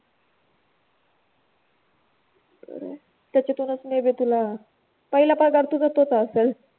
खरंय त्याच्यातुनच maybe तुला, पहिला पगार तुझा तोच आसल.